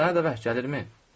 Sənə də vəhy gəlirmi?